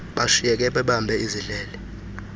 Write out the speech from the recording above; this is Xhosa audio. bashiyeke bebambe izidlele